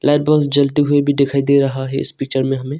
Light बहुत जलती हुई दिखाई दे रहा है इस पिक्चर में हमें।